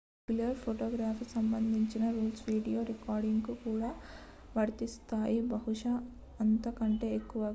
regular ఫోటోగ్రఫీకి సంబంధించిన rules video recording కు కూడా వర్తిస్తాయి బహుశా అంతకంటే ఎక్కువగా